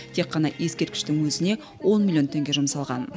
тек қана ескерткіштің өзіне он миллион теңге жұмсалған